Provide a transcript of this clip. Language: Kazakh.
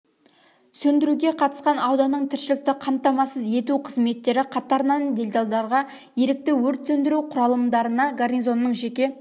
сөндіруге қатысқан ауданның тіршілікті қамтамасыз ету қызметтері қатарынан делдалдарға ерікті өрт сөндіру құралымдарына гарнизонның жеке